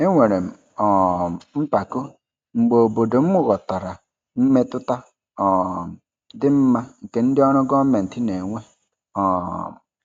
Enwere m um mpako mgbe obodo m ghọtara mmetụta um dị mma nke ndị ọrụ gọọmentị na-enwe. um